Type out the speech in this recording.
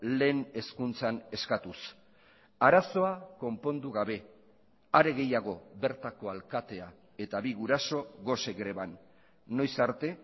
lehen hezkuntzan eskatuz arazoa konpondu gabe are gehiago bertako alkatea eta bi guraso gose greban noiz arte